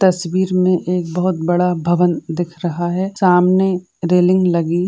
तस्वीर में एक बहुत बड़ा भवन दिख रहा है सामने रेलिंग लगी।